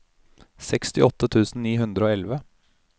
sekstiåtte tusen ni hundre og elleve